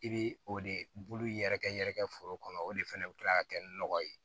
I bɛ o de bulu yɛrɛkɛ yɛrɛ kɛ foro kɔnɔ o de fɛnɛ bi kila ka kɛ nɔgɔ ye